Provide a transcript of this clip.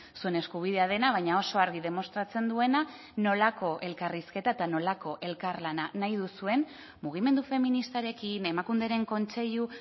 zuen eskubidea dena baina oso argi demostratzen duena nolako elkarrizketa eta nolako elkarlana nahi duzuen mugimendu feministarekin emakunderen kontseilu